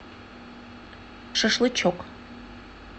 шашлычок